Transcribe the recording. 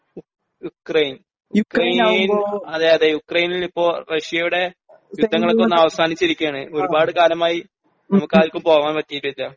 Ukraine Ukraine അതേ അതേ യുക്രൈനിലിപ്പോ റഷ്യയുടെ യുദ്ധങ്ങളൊക്കെ ഒന്നവസാനിച്ചിരിക്കുകയാണ് ഒരുപാട് കാലമായി നമുക്കാർക്കും പോവാൻ പറ്റിയിട്ടില്ല